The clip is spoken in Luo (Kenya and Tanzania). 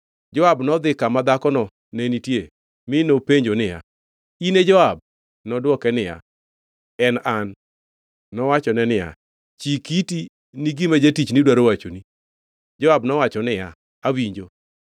Joab nodhi kama dhakono ne nitie, mi nopenjo niya, “In e Joab?” Nodwoke niya, “En an.” Nowachone niya, “Chik iti ni gima jatichni dwaro wachoni.” Joab nowacho niya, “Awinjo.”